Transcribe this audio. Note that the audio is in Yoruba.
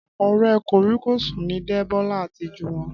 Ọ̀rẹ́ kòríkòsùn ni Débọ́lá àti Jùwọ́n